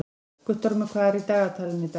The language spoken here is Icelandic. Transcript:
Guttormur, hvað er í dagatalinu í dag?